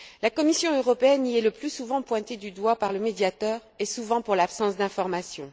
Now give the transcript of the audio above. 2009. La Commission européenne y est le plus souvent pointée du doigt par le Médiateur, et souvent pour l'absence d'informations.